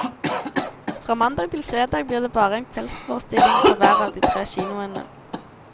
Fra mandag til fredag blir det bare en kveldsforestilling på hver av de tre kinoene.